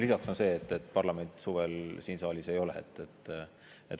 Lisaks on see, et parlament suvel siin saalis ei ole.